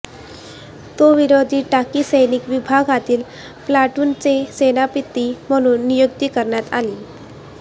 तो विरोधी टाकी सैनिक विभागातील प्लाटूनचे सेनापती म्हणून नियुक्ती करण्यात आली